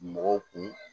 Mɔgɔw kun